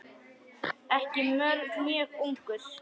Ekki mjög ungur.